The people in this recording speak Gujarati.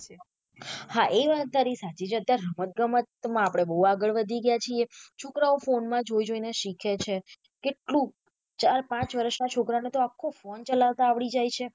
હા એ વાત તારી સાચી છે અત્યારે રમત ગમે માં આપડે બૌ આગળ વધી ગયા છીએ છોકરાઓ ફોન માં જોઈ જોઈને શીખે છે કેટલું ચાર પાંચ વર્ષના છોકરાં ને તો આખો ફોને ચલાવતા આવડી જાય છે.